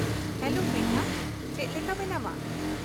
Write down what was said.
-Hello Pritha. ᱪᱮᱫ ᱞᱮᱠᱟ ᱢᱮᱱᱟᱢᱟ ?